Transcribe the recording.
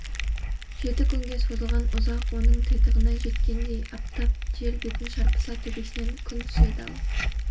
жеті күнге созылған ұзақ оның титығына жеткендей аптап жел бетін шарпыса төбесінен күн теседі ал